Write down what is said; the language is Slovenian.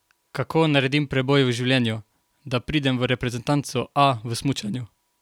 Kako naredim preboj v življenju, da pridem v reprezentanco A v smučanju?